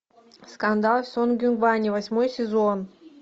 скандал сонгюнгване восьмой сезон